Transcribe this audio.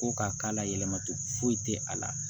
Ko ka k'a la yɛlɛmatogo foyi tɛ a la